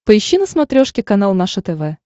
поищи на смотрешке канал наше тв